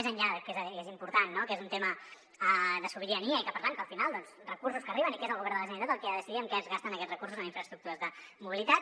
més enllà de que és important no que és un tema de sobirania i que per tant al final doncs recursos que arriben i que és el govern de la generalitat qui ha de decidir en què es gasten aquests recursos en infraestructures de mobilitat